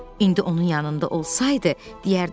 İndi onun yanında olsaydı, deyərdi.